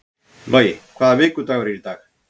Logi, hvaða vikudagur er í dag?